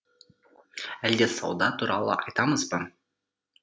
әлде сауда туралы айтамыз ба